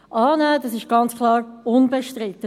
Dies ist klar unbestritten.